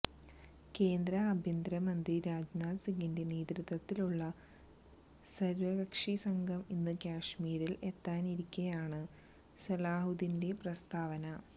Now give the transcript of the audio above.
കേന്ദ്ര ആഭ്യന്തര മന്ത്രി രാജ്നാഥ് സിംഗിന്റെ നേതൃത്വത്തിലുള്ള സര്വകക്ഷി സംഘം ഇന്ന് കാശമീരില് എത്താനിരിക്കെയാണ് സലാഹുദ്ദീന്റെ പ്രസ്താവന